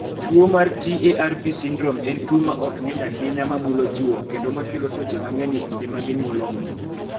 Tuo mar TARP syndrome en tuo ma ok ng�eny ahinya ma mulo chwo kendo ma kelo tuoche mang�eny e kinde ma ginyuologo.